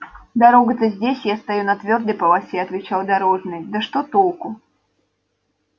дорога-то здесь я стою на твёрдой полосе отвечал дорожный да что толку